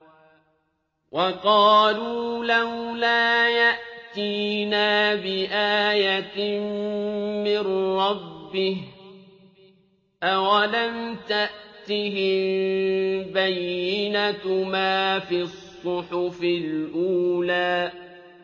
وَقَالُوا لَوْلَا يَأْتِينَا بِآيَةٍ مِّن رَّبِّهِ ۚ أَوَلَمْ تَأْتِهِم بَيِّنَةُ مَا فِي الصُّحُفِ الْأُولَىٰ